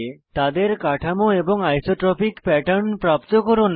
তাদের গঠন এবং আইসোট্রপিক প্যাটার্ন প্রাপ্ত করুন